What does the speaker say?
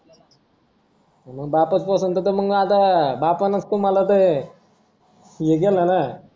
मग बापाच पोसन तर मग आता बापानं च तुम्हाला हे केलं ना